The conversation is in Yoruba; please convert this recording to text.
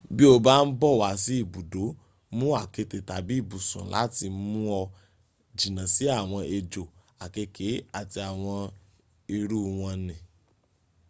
bí o bá ń bọ̀ wá sí ibùdó mú àketè tàbí ibùsùn láti mú ọ jìnà sí àwọn ejò àkekèé àti àwọn irú wọn ni